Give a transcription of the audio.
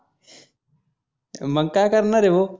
मग काय करणार आहे ह्यो?